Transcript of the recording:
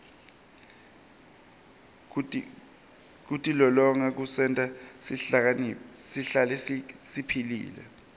kutilolonga kusenta sihlale siphilile